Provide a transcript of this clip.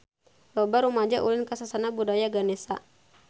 Loba rumaja ulin ka Sasana Budaya Ganesha